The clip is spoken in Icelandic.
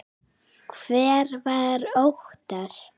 Hver var Óttar?